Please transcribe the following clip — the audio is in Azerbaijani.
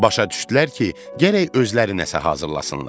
Başa düşdülər ki, gərək özləri nəsə hazırlasınlar.